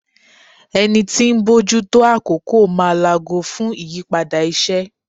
Ẹni tí ń bójú tó àkókò máa laago fún ìyípadà iṣẹ́.